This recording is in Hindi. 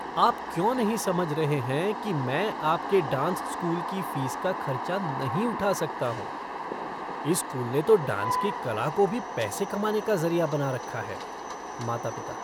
आप क्यों नहीं समझ रहे हैं कि मैं आपके डांस स्कूल की फ़ीस का खर्चा नहीं उठा सकता हूँ। इस स्कूल ने तो डांस की कला को भी पैसे कमाने का ज़रिया बना रखा है। माता पिता